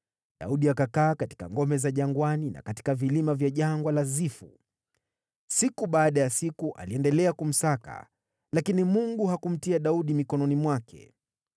Daudi akakaa katika ngome za jangwani na katika vilima vya Jangwa la Zifu. Siku baada ya siku Sauli aliendelea kumsaka, lakini Mungu hakumtia Daudi mikononi mwake.